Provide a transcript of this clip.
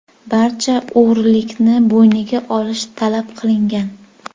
Barcha o‘g‘rilikni bo‘yniga olish talab qilingan.